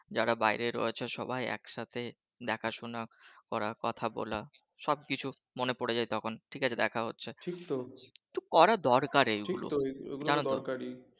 যারা বাইরে রয়েছে সবাই একসাথে দেখাশোনা করা কথা বলা সবকিছু মনে পড়ে যায় তখন ঠিক আছে দেখা হচ্ছে কিছু করা দরকার জানো তো